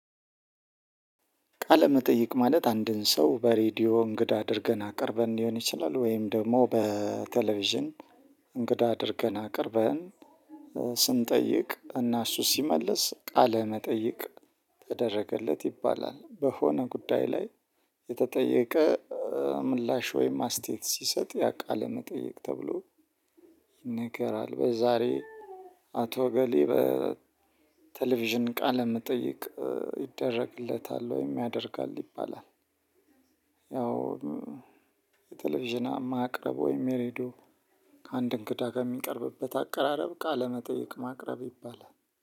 ቃለመጠይቅ ማለት አንድን ሰው በሬዲዮ እንግዳ አድርገን አቅርበን ሊሆን ይችላል ወይም ደግሞ በቴሌቪዥን እንግዳ አድርገን አቅርበን ስንጠይቅ እና እሱ ሲመለስ ቃለ መጠይቅ ተደረገለት ይባላል። በሆነ ጉዳይ ላይ የተጠየቀ ምላሽ ወይም አስተያየት ሲሰጥ ያ ቃለ መጠየቅ ተብሎ ይነገራል። በዛሬ አቶ እገሌ በቴሌቪዥን ቃለ መጠይቅ ይደረግለታል ወይም ያደርጋል ይባላል። ያው የቴሌቪዥን ማቅረብ ወይም የሬዲዮ ከአንድ እንግዳ ከሚቀርብበት አቀራረብ ቃለመጠየቅ ማቅረብ ይባላል።